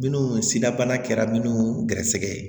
Minnu sidabana kɛra minnu gɛrɛsɛgɛ ye